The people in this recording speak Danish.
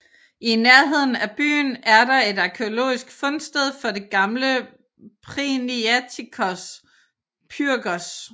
I nærheden af byen er der et arkæologisk fundsted for det gamle Priniatikos Pyrgos